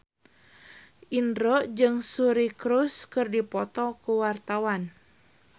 Indro jeung Suri Cruise keur dipoto ku wartawan